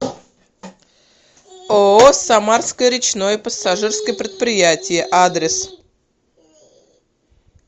ооо самарское речное пассажирское предприятие адрес